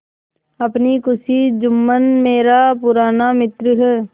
अपनी खुशी जुम्मन मेरा पुराना मित्र है